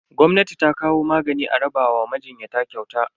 Gwamnati ta kawo magani a raba wa majinyata kyauta.